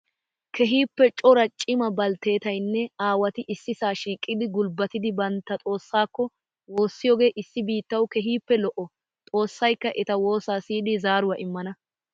Keehippe cora cima baltteetayinne aawati issisaa shiqidi gulbbatidi bantta xoossaakko woossiyooge issi biittawu keehippe lo'o. Xoossayikka eta woosa siyidi zaaruwaa immana.